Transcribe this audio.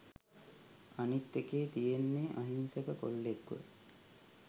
අනිත් එකේ තියෙන්නේ අහිංසක කොල්ලෙක්ව